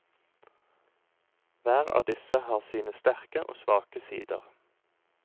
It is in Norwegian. Hver av disse har sine sterke og svake sider.